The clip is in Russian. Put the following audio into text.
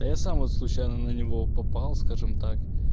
я сам случайно на него попал скажем так